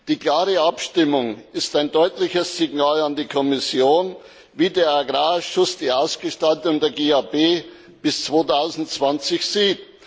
Die klare Abstimmung ist ein deutliches Signal an die Kommission, wie der Agrarausschuss die Ausgestaltung der GAP bis 2020 sieht.